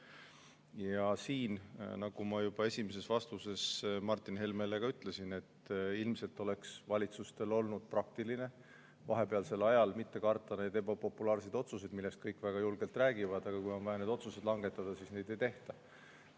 Ja siin, nagu ma juba esimeses vastuses Martin Helmele ütlesin, ilmselt oleks valitsustel olnud praktiline vahepealsel ajal mitte karta neid ebapopulaarseid otsuseid, millest kõik väga julgelt räägivad, aga kui on vaja otsuseid langetada, siis neid ei tehta.